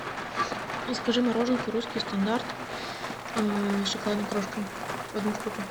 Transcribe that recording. закажи мороженку русский стандарт с шоколадной крошкой одну штуку